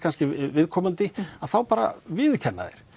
viðkomandi þá bara viðurkenna þeir